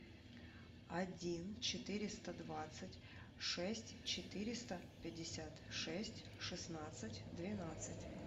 один четыреста двадцать шесть четыреста пятьдесят шесть шестнадцать двенадцать